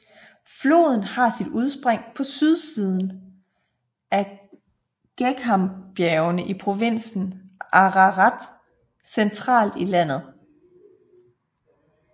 Floden har sit udspring på sydsiden af Geghambjergene i provinsen Ararat centralt i landet